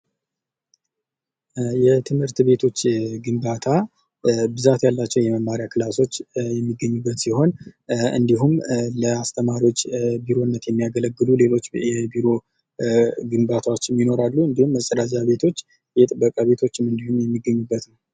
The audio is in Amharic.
የትምህርት ቤቶች ግንባታ ብዛት ያላቸው የመማሪያ ክላሶች የሚገኙበት ሲሆን እንዲሁም ላስተማሪዎች ቢሮነት የሚያገለግሉ ሌሎች የቢሮ ግንባታዎችም የይኖራሉ። እንዲሁም መጸዳጃ ቤቶች የጥበቃ ቤቶችም እንዲሁ የሚገኙበት ነው።